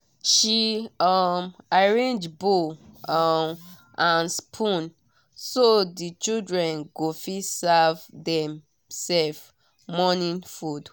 she um arrange bowl um and spoon so the children go fit serve dem-self morning food.